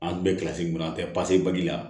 An tun bɛ kilasi kɔnɔ an tɛ la